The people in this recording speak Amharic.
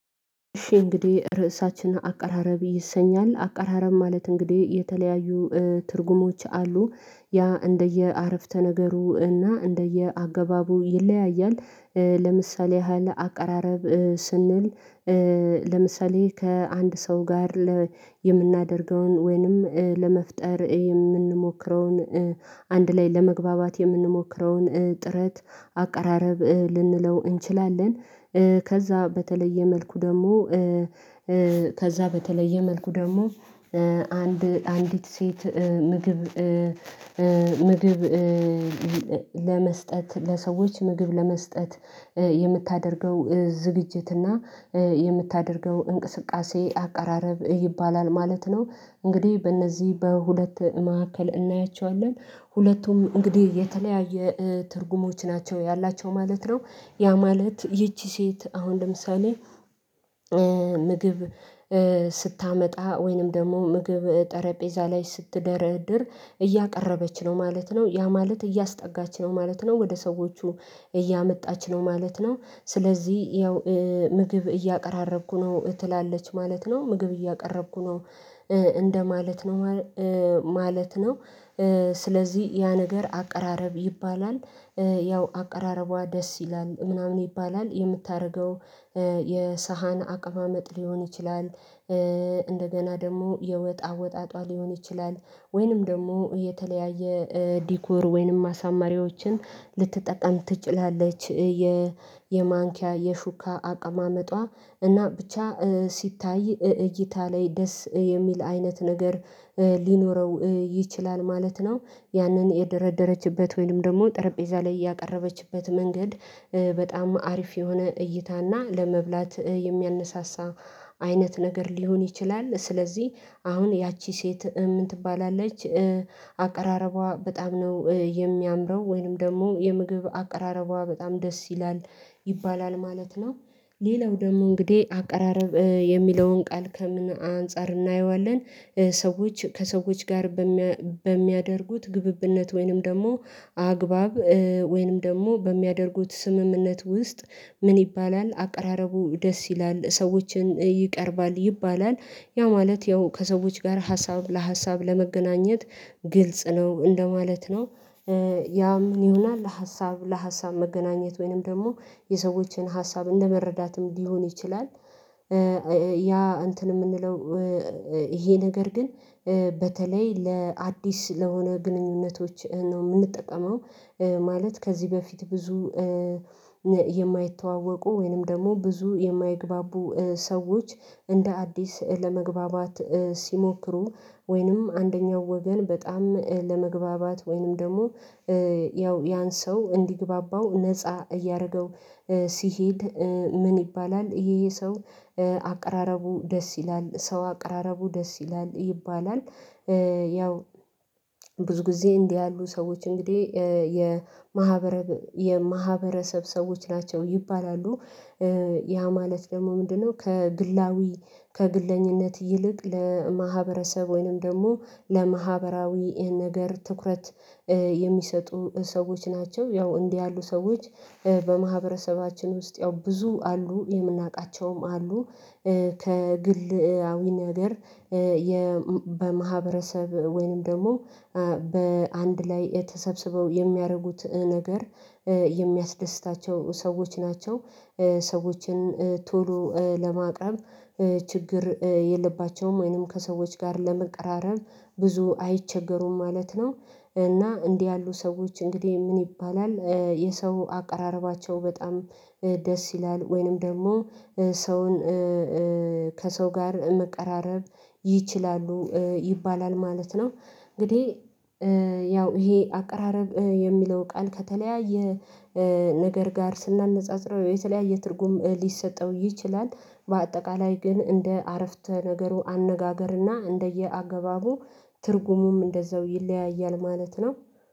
እሺ እንግዲህ ርዕሳችን አቀራረብ ይሰኛል አቀራረብ ማለት እንግዲህ የተለያዩ ትርጉሞች አሉ ያ እንደየ አረፍተ ነገሩ እና እንደየ አገባቡ ይለያያል። ለምሳሌ ያህል አቀራረብ ስንል ለምሳሌ ከአንድ ሰው ጋር የምናደርገውን ወይንም ለመፍጠር የምንሞክረውን አንድ ላይ ለመግባባት የምንሞክረውን ጥረት አቀራረብ ልንለው እንችላለን። ከዛ በተለየ መልኩ ደግሞ ከዛ በተለየ መልኩ ደግሞ አንድ አንዲት ሴት ምግብ ምግብ ለመስጠት ለሰዎች ምግብ ለመስጠት የምታደርገው ዝግጅትና የምታደርገው እንቅስቃሴ አቀራረብ ይባላል ማለት ነው። እንግዲህ በእነዚህ በሁለት መካከል እናያቸዋለን ሁለቱም እንግዲህ የተለያየ ትርጉሞች ናቸው ያላቸው ማለት ነው። ያ ማለት ይቺ ሴት አሁን ለምሳሌ። ምግብ ስታመጣ ወይንም ደግሞ ምግብ ጠረጴዛ ላይ ስትደረድር እያቀረበች ነው ማለት ነው ያ ማለት እያስጠጋች ነው ማለት ነው ወደ ሰዎቹ እያመጣች ነው ማለት ነው። ስለዚህ ያው ምግብ እያቀራረብኩ ነው ትላለች ማለት ነው ምግብ እያቀረብኩ ነው። እንደማለት ነው ማለት ነው ስለዚህ ያ ነገር አቀራረብ ይባላል። ያው አቀራረቧ ደስ ይላል ምናምን ይባላል የምታደርገው የሳህን አቀማመጥ ሊሆን ይችላል። እንደገና ደግሞ የወጥ አወጣጧ ሊሆን ይችላል ወይንም ደግሞ የተለያየ ዲኮር ወይንም አሳማሪዎችን ልትጠቀም ትችላለች። የማንኪያ የሹካ አቀማመጧ እና ብቻ ሲታይ እይታ ላይ ደስ የሚል አይነት ነገር ሊኖረው ይችላል ማለት ነው። ያንን የደረደረችበት ወይም ደግሞ ጠረጴዛ ላይ ያቀረበችበት መንገድ በጣም አሪፍ የሆነ እይታና ለመብላት የሚያነሳሳ አይነት ነገር ሊሆን ይችላል። ስለዚህ አሁን ያቺ ሴት ምን ትባላለች? አቀራረቧ በጣም ነው የሚያምረው ወይንም ደግሞ የምግብ አቀራረቧ በጣም ደስ ይላል ይባላል ማለት ነው። ሌላው ደግሞ እንግዲህ አቀራረብ የሚለውን ቃል ከምን አንፃር እናየዋለን? ሰዎች ከሰዎች ጋር በሚያ በሚያደርጉት ግብብነት ወይንም ደግሞ አግባብ ወይንም ደግሞ በሚያደርጉት ስምምነት ውስጥ ምን ይባላል አቀራረቡ ደስ ይላል ሰዎችን ይቀርባል ይባላል። ያ ማለት ያው ከሰዎች ጋር ሀሳብ ለሀሳብ ለመገናኘት ግልጽ ነው እንደማለት ነው። ያ ምን ይሆናል ለሀሳብ ለሀሳብ መገናኘት ወይንም ደግሞ የሰዎችን ሀሳብም ለመረዳትም ሊሆን ይችላል። ያ እንትን የምንለው ይሄ ነገር ግን በተለይ ለአዲስ ለሆነ ግንኙነቶች ነው የምንጠቀመው። ማለት ከዚህ በፊት ብዙ የማይተዋወቁ ወይንም ደግሞ ብዙ የማይግባቡ ሰዎች እንደ አዲስ ለመግባባት ሲሞክሩ ወይንም አንደኛው ወገን በጣም ለመግባባት ወይንም ደግሞ ያው ያን ሰው እንዲግባባው ነፃ እያደረገው ሲሄድ። ምን ይባላል ይሄ ሰው አቀራረቡ ደስ ይላል ሰው አቀራረቡ ደስ ይላል ይባላል። ያው ብዙ ጊዜ እንዲህ ያሉ ሰዎች እንግዲህ የማህበረ የማህበረሰብ ሰዎች ናቸው ይባላሉ። ያ ማለት ደግሞ ምንድነው? ከግላዊ ከግለኝነት ይልቅ ለማህበረሰብ ወይንም ደግሞ ለማህበራዊ ነገር ትኩረት የሚሰጡ ሰዎች ናቸው ያው እንዲህ ያሉ ሰዎች በማህበረሰባችን ውስጥ ያው ብዙ አሉ የምናውቃቸውም አሉ። ከግልአዊ ነገር የ በማህበረሰብ ወይንም ደግሞ በአንድ ላይ የተሰብስበው የሚያደርጉት ነገር የሚያስደስታቸው ሰዎች ናቸው። ሰዎችን ቶሎ ለማቅረብ ችግር የለባቸውም ወይንም ከሰዎች ጋር ለመቀራረብ ብዙ አይቸገሩም ማለት ነው። እና እንዲህ ያሉ ሰዎች እንግዲህ ምን ይባላል? የሰው አቀራረባቸው በጣም ደስ ይላል ወይንም ደግሞ ሰውን ከሰው ጋር መቀራረብ ይችላሉ ይባላል ማለት ነው። እንግዲህ ያው ይሄ አቀራረብ የሚለው ቃል ከተለያየ ነገር ጋር ስናነጻጽረው የተለያየ ትርጉም ሊሰጠው ይችላል። በአጠቃላይ ግን እንደ አረፍተ ነገሩ አነጋገርና እንደየአገባቡ ትርጉሙም እንደዛው ይለያያል ማለት ነው።